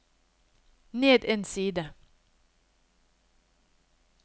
ned en side